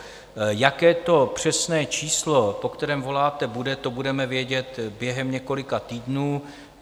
Jaké to přesné číslo, po kterém voláte, bude, to budeme vědět během několika týdnů.